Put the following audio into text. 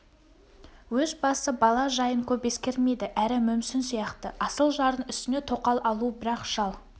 өз басы бала жайын көп ескермейді әрі мүмсін сияқты асыл жардың үстіне тоқал алу бірақ шал